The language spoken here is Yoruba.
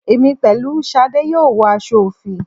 Èmi pẹ̀lú Ṣadé yóò wọ aṣọ òfì